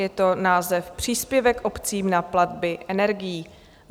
Je to název Příspěvek obcím na platby energií.